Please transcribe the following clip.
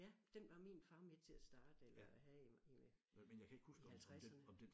Ja den var min far med til at starte eller at have i med i halvtredserne